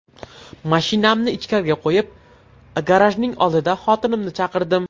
Mashinamni ichkariga qo‘yib, ‘garaj’ning oldida xotinimni chaqirdim.